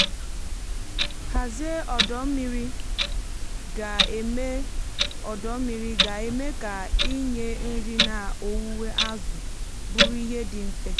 nhazie ọdọ mmiri ga-eme ọdọ mmiri ga-eme ka ịnye nri na owuwe azụ bụrụ ihe dị mfe.